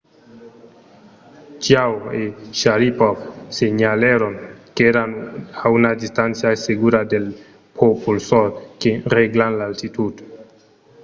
chiao e sharipov senhalèron qu'èran a una distància segura dels propulsors que règlan l'altitud